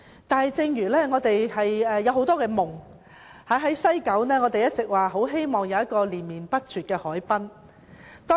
但是，我們仍有很多夢想，例如我們一直希望能在西九有連綿不絕的海濱長廊。